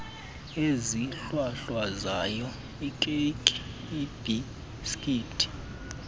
ezihlwahlwazayo iikeyiki iibhisikithi